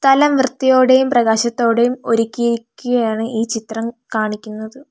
നല്ല വൃത്തിയോടെയും പ്രകാശത്തോടെയും ഒരുക്കിയിരിക്കയാണ് ഈ ചിത്രം കാണിക്കുന്നത്.